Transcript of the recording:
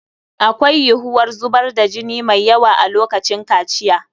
Akwai yiwuwar zubar da jini mai yawa a lokacin kaciya.